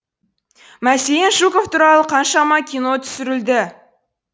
мәселен жуков туралы қаншама кино түсірілді